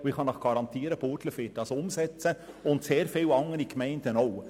Ich kann Ihnen garantieren, Burgdorf wird dies umsetzen und viele anderen Gemeinden auch.